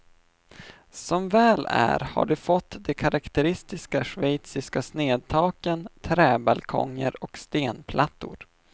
Som väl är har de fått de karaktäristiska schweiziska snedtaken, träbalkonger och stenplattor.